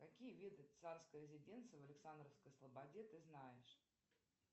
какие виды царской резиденции в александровской слободе ты знаешь